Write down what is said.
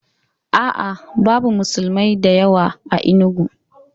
A'a, babu musulmi da yawa a Enugu.